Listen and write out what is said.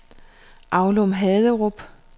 Aulum-Haderup